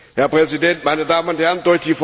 Herr Präsident, meine Damen und Herren!